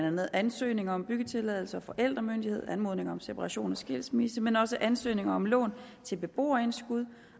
andet ansøgning om byggetilladelse og forældremyndighed anmodning om separation og skilsmisse men også ansøgning om lån til beboerindskud